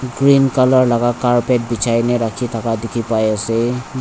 cream colour laga carpet bechei ne rakhi thaka dekhi pai ase.